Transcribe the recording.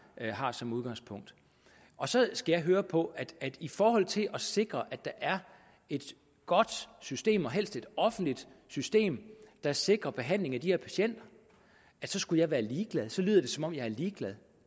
har som udgangspunkt så skal jeg høre på at i forhold til at sikre at der er et godt system og helst et offentligt system der sikrer behandling af de her patienter skulle jeg være ligeglad så lyder det som om jeg er ligeglad